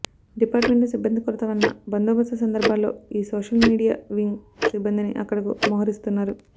department లో సిబ్బంది కొరత వలన బందోబస్తు సందర్భాల్లో ఈ సోషల్మీడియా వింగ్ సిబ్బందినీ అక్కడకు మోహరిస్తున్నారు